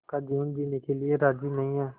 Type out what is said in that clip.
का जीवन जीने के लिए राज़ी नहीं हैं